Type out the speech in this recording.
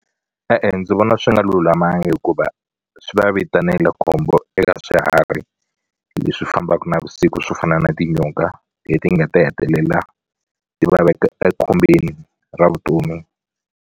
E-e ndzi vona swi nga lulamanga hikuva swi va vitanela khombo eka swiharhi leswi fambaka navusiku swo fana na tinyoka leti nga ta hetelela ti va veka ra vutomi.